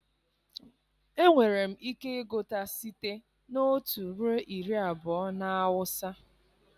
Enwere m ike ịgụta site na otu ruo iri abụọ na awụsa